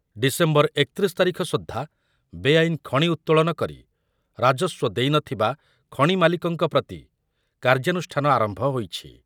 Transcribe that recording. December ଏକତିରିଶି ତାରିଖ ସୁଦ୍ଧା ବେଆଇନ ଖଣି ଉତ୍ତୋଳନ କରି ରାଜସ୍ୱ ଦେଇ ନ ଥିବା ଖଣି ମାଲିକଙ୍କ ପ୍ରତି କାର୍ଯ୍ୟାନୁଷ୍ଠାନ ଆରମ୍ଭ ହୋଇଛି।